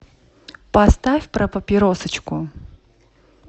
поставь про папиросочку